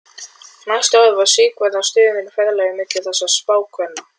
Næstu árin var Sigvarður á stöðugu ferðalagi milli þessara spákvenna.